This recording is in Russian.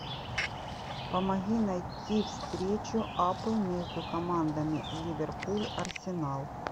помоги найти встречу апл между командами ливерпуль арсенал